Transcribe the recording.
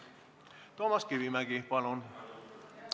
Toomas Kivimägi, palun!